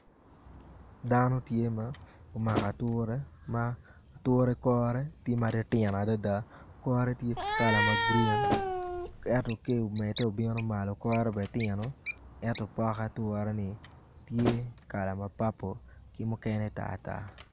Dano tye ma omako ature ma ature kore tye ma titino adada ature kore tye kala ma grin ento ka eni omedde obino malo kore bene tino ento pok aturani tye kala ma papul ki mukene tartar.